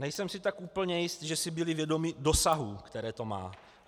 Nejsem si tak úplně jistý, že si byli vědomi dosahů, které to má.